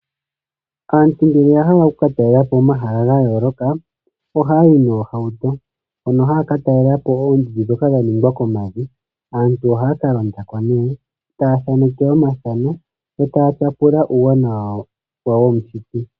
Aantu ngele ya hala oku katalela po omahala ga yooloka ohaya yi noohauto. Mono haya ka talela po oondundu dhoka dha ningwa komavi. Aantu ohaya ka londa ko nee taya theneke omathano yo taya tyapula uuwanawa womushiti.